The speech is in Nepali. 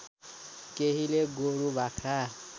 केहीले गोरु बाख्रा